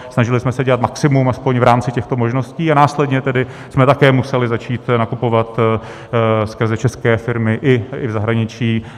Snažili jsme se dělat maximum aspoň v rámci těchto možností a následně tedy jsme také museli začít nakupovat skrze české firmy i v zahraničí.